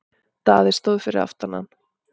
Daði stóð fyrir aftan hann.